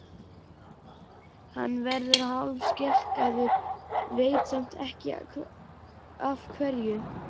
Hann verður hálfskelkaður, veit samt ekki af hverju.